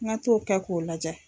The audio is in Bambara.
N ka t'o kɛ k'o lajɛ.